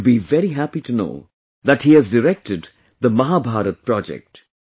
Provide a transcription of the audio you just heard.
You will be very happy to know that he has directed the Mahabharat Project